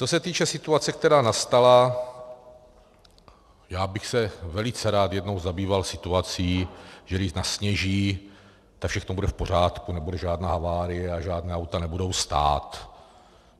Co se týče situace, která nastala, já bych se velice rád jednou zabýval situací, že když nasněží, tak všechno bude v pořádku, nebude žádná havárie a žádná auta nebudou stát.